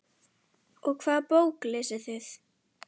Og hvaða bók lesið þið?